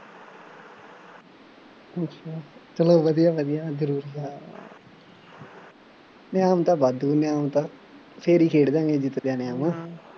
ਅੱਛਾ, ਚੱਲੋ ਵਧੀਆ ਵਧੀਆ ਜ਼ਰੂਰ ਇਨਾਮ ਤਾਂ ਵਾਧੂ ਇਨਾਮ ਤਾਂ ਫੇਰ ਹੀ ਖੇਡਦੇ ਹਾਂ ਜੇ ਜਿੱਤਦੇ ਇਨਾਮ